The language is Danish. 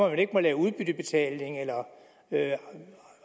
at man ikke må lave udbyttebetaling eller eller